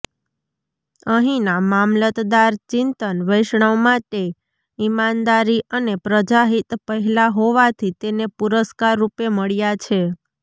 અહીંના મામલતદાર ચિંતન વૈષ્ણવ માટે ઇમાનદારી અને પ્રજાહિત પહેલા હોવાથી તેને પુરસ્કાર રૂપે મળ્યા છે